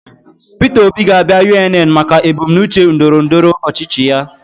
Peter Obi ga-abịa UNN maka ebumnuche ndọrọndọrọ ọchịchị ya